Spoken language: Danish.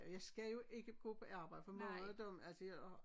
Jeg skal jo ikke gå på arbejde for mange af dem altså jeg har